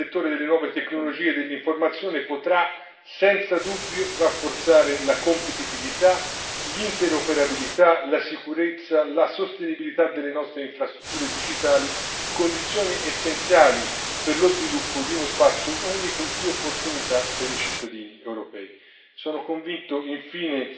Lo sviluppo di norme comuni nel settore delle nuove tecnologie dell'informazione potrà senza dubbio rafforzare la competitività, l'interoperabilità, la sicurezza, la sostenibilità delle nostre infrastrutture digitali condizioni essenziali per lo sviluppo di uno spazio unico di opportunità per i cittadini europei.